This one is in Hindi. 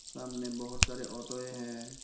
सामने बहुत सारे ऑटोवे है।